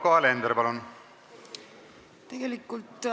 Yoko Alender, palun!